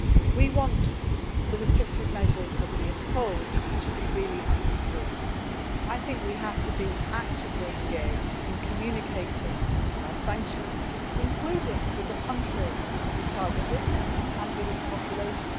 We want the restrictive measures that we impose to be properly understood. We have to be actively engaged in communication about our sanctions, including with the country that we have targeted and with its population.